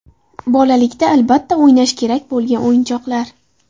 Bolalikda albatta o‘ynash kerak bo‘lgan o‘yinchoqlar.